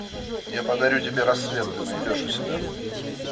я подарю тебе рассвет ты найдешь у себя